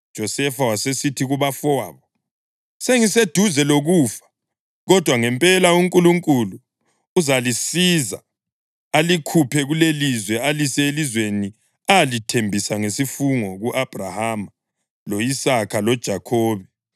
UJosefa wasesithi kubafowabo, “Sengiseduze lokufa. Kodwa ngempela uNkulunkulu uzalisiza alikhuphe kulelilizwe alise elizweni alithembisa ngesifungo ku-Abhrahama, lo-Isaka loJakhobe.”